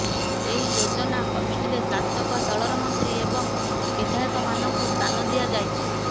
ଏହି ଯୋଜନା କମିଟିରେ ଶାସକ ଦଳର ମନ୍ତ୍ରୀ ଏବଂ ବିଧାୟକ ମାନଙ୍କୁ ସ୍ଥାନ ଦିଆଯାଇଛି